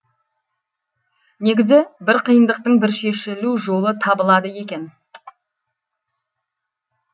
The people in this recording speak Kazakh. негізі бір қиындықтың бір шешілу жолы табылады екен